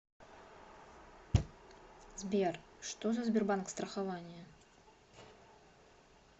сбер что за сбербанк страхование